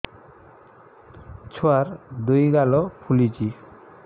ଛୁଆର୍ ଦୁଇ ଗାଲ ଫୁଲିଚି